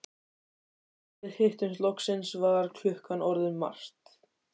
Og þegar við hittumst loksins var klukkan orðin margt.